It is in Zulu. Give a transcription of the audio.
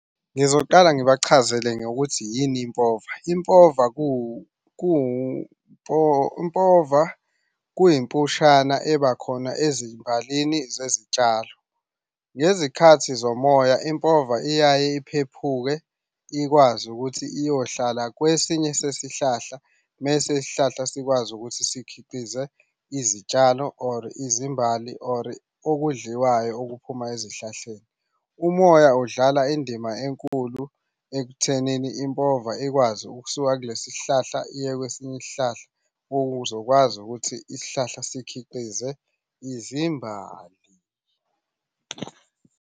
Ngizoqala ngibachazele ngokuthi yini impova. Impova, Impova kuyimpushana eba khona ezimbalini zezitshalo. Ngezikhathi zomoya impova iyaye iphephuke ikwazi ukuthi iyohlala kwesinye sesihlahla, mese isihlahla sikwazi ukuthi sikhiqize izitshalo or izimbali or okudliwayo okuphuma ezihlahleni. Umoya udlala indima enkulu ekuthenini impova ikwazi ukusuka kulesi sihlahla iye kwesinye isihlahla ukuze ukwazi ukuthi isihlahla sikhiqize izimbali.